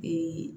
Bi